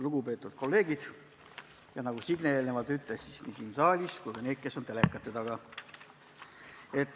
Lugupeetud kolleegid – nagu Signe eelnevalt ütles, kolleegid nii siin saalis kui ka need, kes on telekate taga!